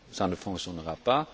ça ne fonctionnera pas.